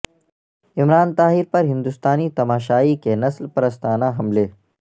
عمران طاہر پر ہندوستانی تماشائی کے نسل پرستانہ حملے